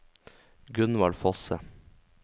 Gunvald Fosse